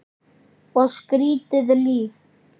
Og skrýtið líf.